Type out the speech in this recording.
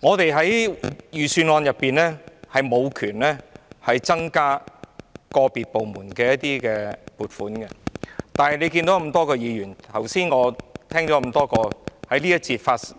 我們在審議財政預算案時沒有權力增加個別部門的撥款，而大家也看到，正如剛才在這個環節